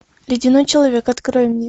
ледяной человек открой мне